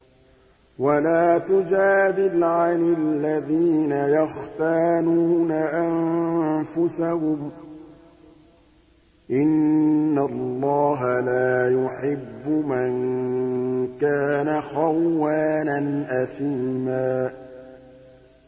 وَلَا تُجَادِلْ عَنِ الَّذِينَ يَخْتَانُونَ أَنفُسَهُمْ ۚ إِنَّ اللَّهَ لَا يُحِبُّ مَن كَانَ خَوَّانًا أَثِيمًا